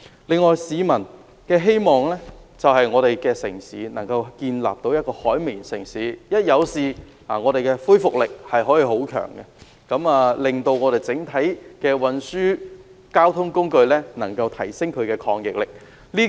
此外，市民希望香港發展成為一個"海綿城市"，一旦發生事故也有很強的恢復力，提升本港整體交通運輸工具的抗逆力。